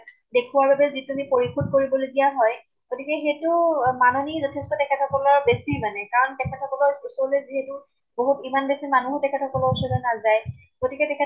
দেখুৱাৰ বাবে যিখিনি পৰিশোধ কৰিব লগিয়া হয়, গতিকে সেইটো ও মাননী যথেষ্ট তেখেত সকলৰ বেছি মানে। কাৰণে তেখেত সকলৰ ওচৰলৈ যিহেতু বহুত ইমান বেছি মানুহ তেখেত সকলৰ ওচৰলৈ নাযায়। গতিকে তেখেত